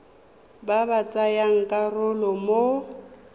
ba ba tsayang karolo mo